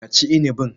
Ka ci inibin.